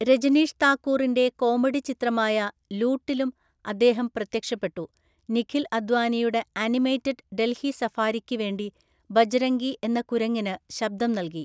രജനിഷ് താക്കൂറിന്റെ കോമഡി ചിത്രമായ ലൂട്ടിലും അദ്ദേഹം പ്രത്യക്ഷപ്പെട്ടു, നിഖിൽ അദ്വാനിയുടെ ആനിമേറ്റഡ് ഡൽഹി സഫാരിക്ക് വേണ്ടി ബജ്‌രംഗി എന്ന കുരങ്ങിന് ശബ്ദം നൽകി.